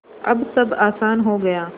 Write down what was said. अब सब आसान हो गया